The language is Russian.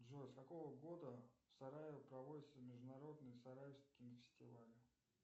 джой с какого года в сараево проводится международный сараевский фестиваль